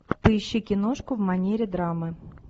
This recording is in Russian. поищи киношку в манере драмы